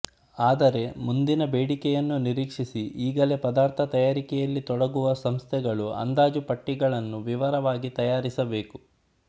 ಆದರೆ ಮುಂದಿನ ಬೇಡಿಕೆಯನ್ನು ನಿರೀಕ್ಷಿಸಿ ಈಗಲೇ ಪದಾರ್ಥ ತಯಾರಿಕೆಯಲ್ಲಿ ತೊಡಗುವ ಸಂಸ್ಥೆಗಳು ಅಂದಾಜುಪಟ್ಟಿಗಳನ್ನು ವಿವರವಾಗಿ ತಯಾರಿಸಬೇಕು